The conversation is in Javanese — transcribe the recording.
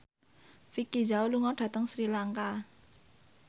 Vicki Zao lunga dhateng Sri Lanka